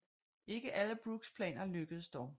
Ikke alle Brookes planer lykkedes dog